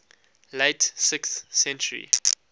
late sixth century